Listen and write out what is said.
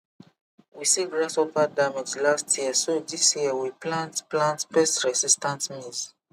we see grasshopper damage last year so this year we plant plant pest resistant maize